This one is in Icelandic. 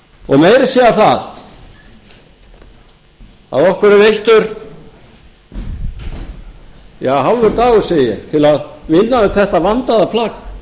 að segja það að okkur er veittur hálfur dagur segi ég til að vinna upp þetta vandaða